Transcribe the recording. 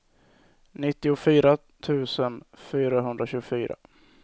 nittiofyra tusen fyrahundratjugofyra